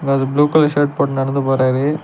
ஒரு ஆள் blue colour shirt போட்டு நடந்து போறாரு.